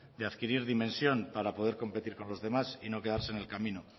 de adquirir dimensión para poder competir con los demás y no quedarse en el camino